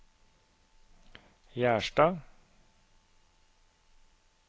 Gjerstad